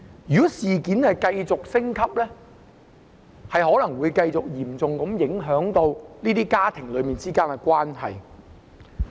如果事件繼續升級，可能會嚴重影響這些家庭的關係。